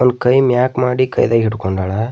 ಒಂದು ಕೈ ಮ್ಯಾಕ್ ಮಾಡಿ ಕೈದಾಗ ಹಿಡ್ಕೊಂಡಾಳ.